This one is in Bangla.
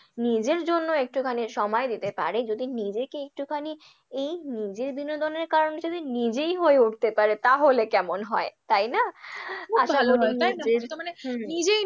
নিজের জন্য একটুখানি সময় দিতে পারে যদি নিজেকে একটুখানি এই নিজের বিনোদনের কারণটা যদি নিজেই হয়ে উঠতে পারে তাহলে কেমন হয়? তাই না? খুব ভালো হয় তাই না?